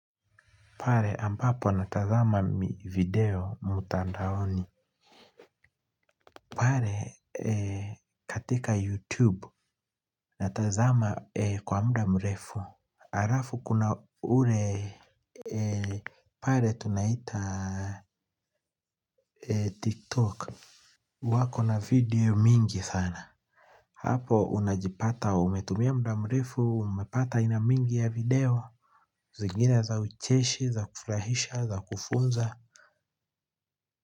Pale ambapo natazama video mtandaoni pale katika youtube natazama kwa muda mrefu alafu kuna ule pale tunaita tiktok wako na video mingi sana hapo unajipata umetumia muda mrefu umepata aina mingi ya video zingine za ucheshi za kufurahisha za kufunza kwa hivyo.